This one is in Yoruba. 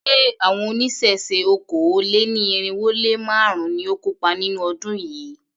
Ṣé àwọn oníṣẹ̀ṣe okòó-lé-ní-irínwó-lé-márùn-ún ni ó kópa nínú ọdún yìí?